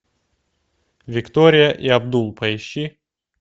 виктория и абдул поищи